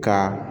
Ka